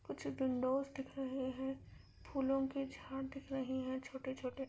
कुछ विंडोज दिख रहे है फूलों की झाड़ दिख रही हैं छोटे - छोटे --